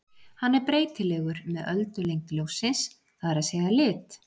Hann er breytilegur með öldulengd ljóssins, það er að segja lit.